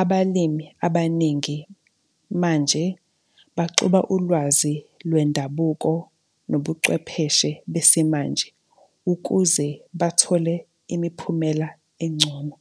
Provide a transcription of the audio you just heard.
abalimi abaningi manje baxuba ulwazi lwendabuko nobucwepheshe besimanje ukuze bathole imiphumela engcono.